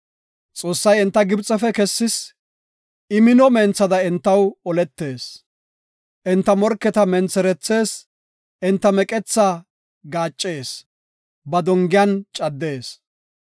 Xoossay enta Gibxefe kessis; I mino menthada entaw oletees. Enta morketa mentherethees; enta meqethaa gaaccees; ba dongiyan caddees.